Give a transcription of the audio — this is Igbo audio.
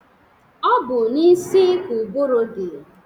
Ọ bụ n'isi ka ụbụrụ dị.